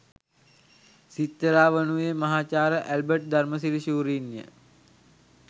සිත්තරා වනුයේ මහාචාර්ය ඇල්බට් ධර්මසිරි ශූරින්ය.